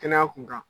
Kɛnɛya kun kan